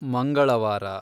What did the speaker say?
ಮಂಗಳವಾರ